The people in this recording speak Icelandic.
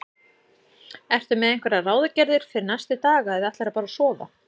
Ertu með einhverjar ráðagerðir fyrir næstu daga eða ætlarðu bara að sofa?